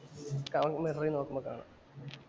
അവൻ വന്ന് ഇറങ്ങി നോക്കുമ്പോ കാണാം.